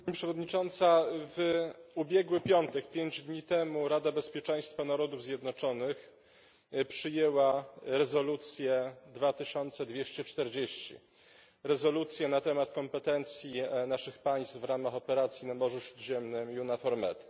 Pani Przewodnicząca! W ubiegły piątek, pięć dni temu, Rada Bezpieczeństwa Narodów Zjednoczonych przyjęła rezolucję 2240 rezolucję na temat kompetencji naszych państw w ramach operacji na Morzu Śródziemnym EUNAVFOR Med.